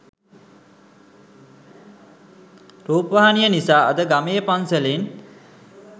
රූපවාහිනිය නිසා අද ගමේ පන්සලෙන්